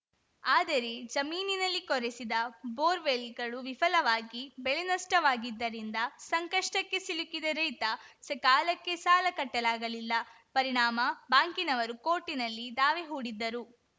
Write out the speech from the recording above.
ಆದರೆ ಜಮೀನಿನಲ್ಲಿ ಕೊರೆಸಿದ ಬೋರ್‌ವೋಲ್‌ಗಳು ವಿಫಲವಾಗಿ ಬೆಳೆನಷ್ಟವಾಗಿದ್ದರಿಂದ ಸಂಕಷ್ಟಕ್ಕೆ ಸಿಲುಕಿದ ರೈತ ಸಕಾಲಕ್ಕೆ ಸಾಲ ಕಟ್ಟಲಾಗಲಿಲ್ಲ ಪರಿಣಾಮ ಬ್ಯಾಂಕಿನವರು ಕೋರ್ಟಿನಲ್ಲಿ ದಾವೆ ಹೂಡಿದ್ದರು